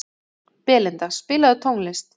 Belinda, spilaðu tónlist.